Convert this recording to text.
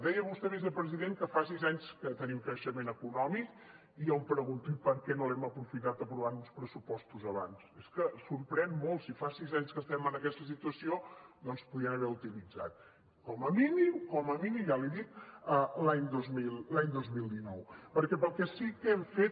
deia vostè vicepresident que fa sis anys que tenim creixement econòmic i jo em pregunto i per què no l’hem aprofitat aprovant uns pressupostos abans és que sorprèn molt si fa sis anys que estem en aquesta situació doncs podien haver utilitzat com a mínim ja l’hi dic l’any dos mil dinou perquè per al que sí que l’hem fet